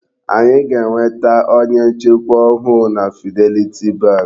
Anyị ga-enweta onye nchekwa ọhụụ na Fidelity bank.